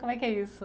Como é que é isso?